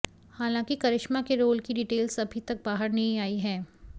हालांकि करिश्मा के रोल की डीटेल्स अभी तक बाहर नहीं आई हैं